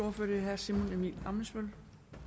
ordfører herre simon emil ammitzbøll